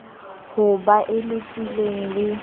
ho ba e lokileng le